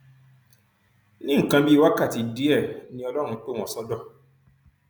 ní nǹkan bíi wákàtí díẹ ni ọlọrun pè wọn sódò